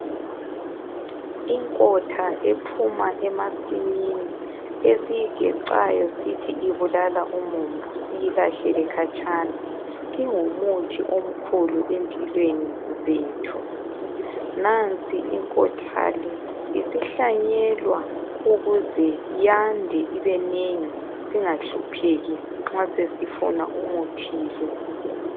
Inkotha ephuma emasimini, esiyigecayo sithi ibulala umumbu siyilahlele khatshana, ingumuthi omkhulu empilweni zethu. Nansi inkotha le, isihlanyelwa ukuze yande ibenengi, singahlupheki nxa sesifuna umuthi lo.